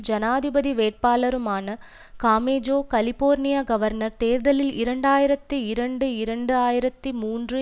ஜனாதிபதி வேட்பாளருமான காமெஜோ கலிபோர்னியக் கவர்னர் தேர்தலில் இரண்டு ஆயிரத்தி இரண்டு இரண்டு ஆயிரத்தி மூன்று